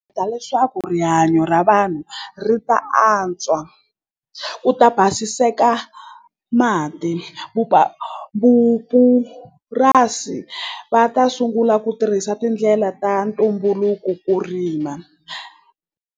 leswaku rihanyo ra vanhu ri ta antswa ku ta basiseka mati vupurasi va ta sungula ku tirhisa tindlela ta ntumbuluko ku rima.